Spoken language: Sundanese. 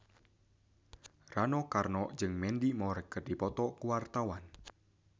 Rano Karno jeung Mandy Moore keur dipoto ku wartawan